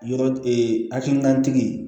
Yɔrɔ ee hakilinatigi ye